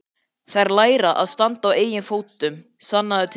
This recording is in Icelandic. Þær læra að standa á eigin fótum, sannaðu til.